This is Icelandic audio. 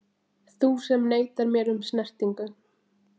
Þú sem neitar mér um snertingu.